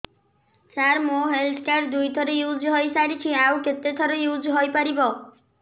ସାର ମୋ health card ଦୁଇ ଥର ୟୁଜ଼ ହୈ ସାରିଛି ଆଉ କେତେ ଥର ୟୁଜ଼ ହୈ ପାରିବ